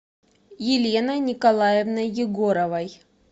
еленой николаевной егоровой